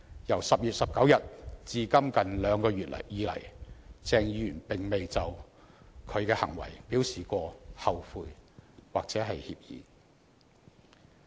由10月19日至今近兩個月來，鄭議員未有就他的行為表示後悔或歉意。